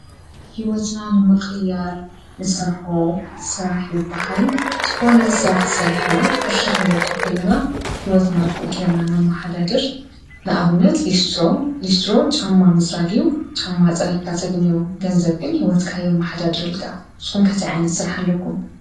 ህይወትና ንምቕያር ንሰርሖ ስራሕ ይብሃል ዝኾነ ስራሕ ሰሪሕና ቅርሺ ክንረክብ ከለና ህይወትና ብኡ ጌርና ነመሓዳድር ንኣብነት ሊስትሮ ሊስትሮ ጫማ ምፅራግ እዩ ጫማ ፀሪግካ ተግንዮ ገንዘብ ግን ህይወትካ የመሓዳድረልካ ። ንስኹም ከ ታይ ዓይነት ስራሕ ኣለኩም ?